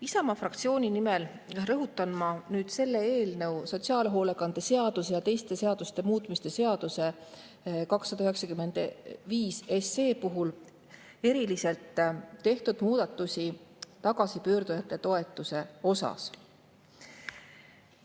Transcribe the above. Isamaa fraktsiooni nimel rõhutan ma eriliselt selle eelnõu, sotsiaalhoolekande seaduse ja teiste seaduste muutmise seaduse 295 puhul tagasipöörduja toetuse muudatusi.